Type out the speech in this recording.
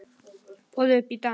Boðið upp í dans